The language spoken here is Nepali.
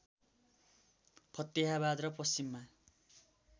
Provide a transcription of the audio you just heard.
फतेहाबाद र पश्चिममा